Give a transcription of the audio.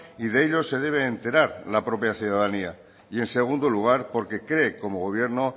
y de ello se debe enterar la propia ciudadanía y en segundo lugar porque cree como gobierno